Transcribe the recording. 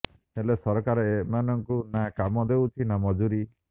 ହେଲେ ସରକାର ଏମାନଙ୍କୁ ନା କାମ ଦେଉଛନ୍ତି ନା ମଜୁରୀ